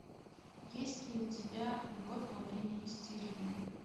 есть ли у тебя любовь во время истерии